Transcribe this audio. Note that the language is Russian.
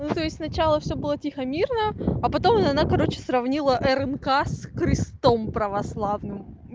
ну то есть сначала всё было тихо-мирно а потом она короче сравнила рнк с крестом православным